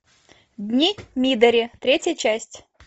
дни мидори третья часть